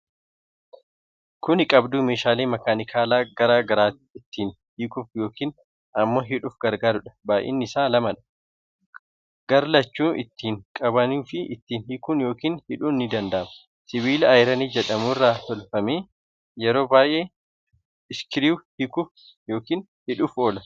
Kuni Qabduu Meeshaalee makaanikaalaa garaa garaa ittiin hiikuuf yookiin ammoo hidhuuf gargaarudha. Baay'inni isaa lamadha. Garlachuunuu ittiin qabuunifii ittiin hiikuun yookiin hidhuun ni danda'ama. Sibiila ayiranii jedhamu irraa hojjatame. Yeroo baay'ee Iskiriiwuu hiikuuf yookiin hidhuuf oola.